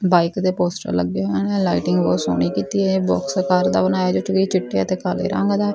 bike ਦੇ poster ਲੱਗੇ ਹਨ ਲਾਈਟਿੰਗ ਬਹੁਤ ਸੋਹਣੀ ਕੀਤੀ ਹੈ ਬੋਕਸ ਆਕਾਰ ਦਾ ਬਣਾਇਆ ਚਿੱਟੇ ਅਤੇ ਕਾਲੇ ਰੰਗ ਦਾ --